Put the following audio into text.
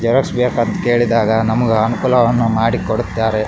Xerox ಬೇಕು ಅಂತ ಕೇಳಿದಾಗ ನಮಗ ಅನುಕೂಲವನ್ನು ಮಾಡಿ ಕೊಡುತ್ತಾರೆ.